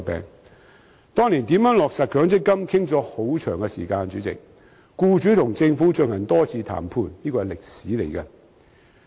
主席，當年就如何落實強積金討論了很長時間，僱主和政府進行多次談判，這是歷史。